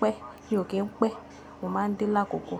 pẹ́, mi ò kí ń pẹ́. Mo máa ń dé lákòókò.